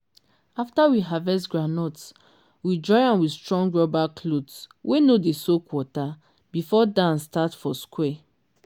after we harvest groundnut we dry am with strong rubber cloth wey no dey soak water before dance start for square.